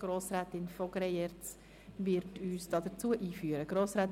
Grossrätin von Greyerz wird uns einführen.